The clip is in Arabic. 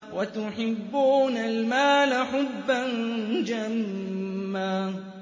وَتُحِبُّونَ الْمَالَ حُبًّا جَمًّا